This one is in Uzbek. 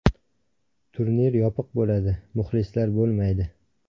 Turnir yopiq bo‘ladi, muxlislar bo‘lmaydi.